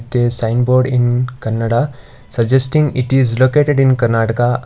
The sign board in kanada suggesting it is located in karnataka.